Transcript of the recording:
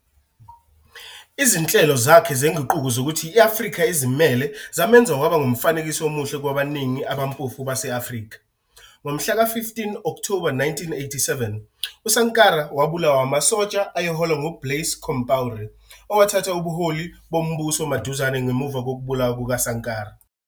Izinhlelo zakhe zenguquko zokuthi i-Afrika izimele zamenza waba ngumfanekiso omuhle kwabaningi abampofu base-Afrika. Ngomhla ka-15 Okthoba 1987, uSankara wabulawa amasosha ayeholwa nguBlaise Compaoré, owathatha ubuholi bombuso maduzane ngemuva kokubulawa kukaSankara.